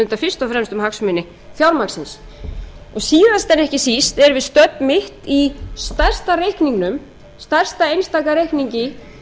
fyrst og fremst um hagsmuni fjármagnsins síðast en ekki síst erum við stödd mitt í stærsta reikningnum stærsta einstaka reikningi